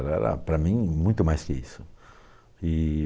Ela era, para mim, muito mais que isso. E